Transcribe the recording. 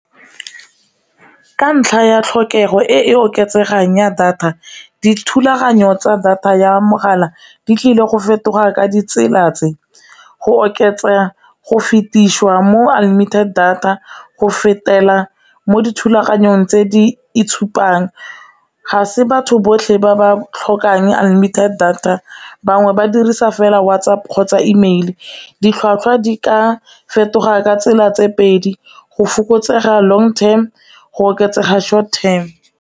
Ka ntlha ya tlhokego e e oketsegang ya data dithulaganyo tsa data ya mogala di tlile go fetoga ka ditsela tse go oketsa go fetisiwa mo unlimited data, go fetela mo dithulaganyong tse di itshupang, ga se batho botlhe ba ba tlhokang unlimited data bangwe ba dirisa fela WhatsApp kgotsa email, ditlhwatlhwa di ka fetoga ka tsela tse pedi go fokotsega long term go oketsega short term.